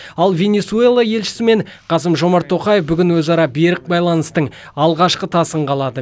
ал венесуэла елшісімен қасым жомарт тоқаев бүгін өзара берік байланыстың алғашқы тасын қалады